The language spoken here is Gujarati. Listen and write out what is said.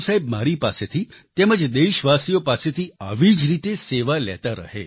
ગુરુ સાહેબ મારી પાસેથી તેમજ દેશવાસીઓ પાસેથી આવી જ રીતે સેવા લેતા રહે